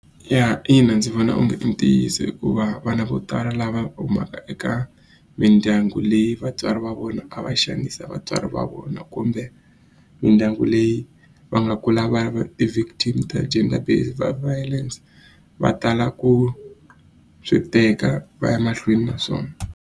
Ya ina ndzi vona onge i ntiyiso hikuva vana vo tala lava humaka eka mindyangu leyi vatswari va vona a va xanisa vatswari va vona kumbe mindyangu leyi va nga kula va va ti-victim ta gender based violence va tala ku swi teka va ya mahlweni na swona.